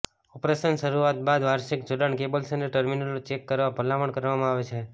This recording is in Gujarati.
ઓપરેશન શરૂઆત બાદ વાર્ષિક જોડાણ કેબલ્સ અને ટર્મિનલો ચેક કરવા ભલામણ કરવામાં આવે છે